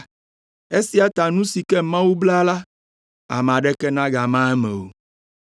Esia ta nu si ke Mawu bla la, ame aɖeke megama eme o.”